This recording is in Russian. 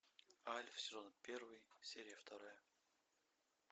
альф сезон первый серия вторая